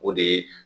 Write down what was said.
O de ye